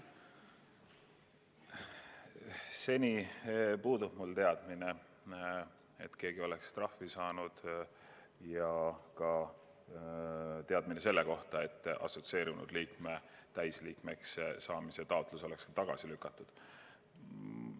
Seni puudub mul teadmine selle kohta, et keegi oleks trahvi saanud, ja ka teadmine selle kohta, et assotsieerunud liikme täisliikmeks saamise taotlus oleks tagasi lükatud.